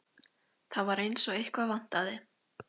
Það var eins og eitthvað vantaði.